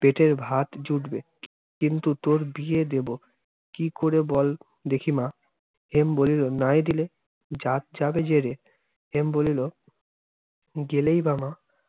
পেটের ভাত জুটবে। কিন্তু তোর বিয়ে দেব কি করে বল, দেখি মা? হেম বলিলো, নাই দিলে! জাত যাবে যেরে। হেম বলিলো, গেলেই বা মা